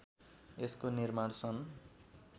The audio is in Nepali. यसको निर्माण सन